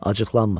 Acıqlanmır.